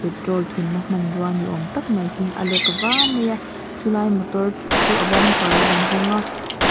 petrol thunna hmanrua ni awm tak mai hi a lek va mai a chulai motor chu a bumper a inhawng a.